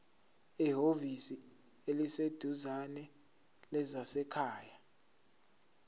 ehhovisi eliseduzane lezasekhaya